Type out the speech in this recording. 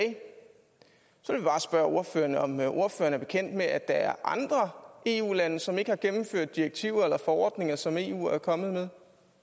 så vil jeg bare spørge ordføreren om ordføreren er bekendt med at der er andre eu lande som ikke har gennemført direktiver eller forordninger som eu er kommet